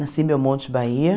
Nasci em Belmonte, Bahia.